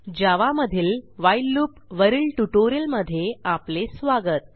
जावा मधील while loop वरील ट्युटोरियलमध्ये आपले स्वागत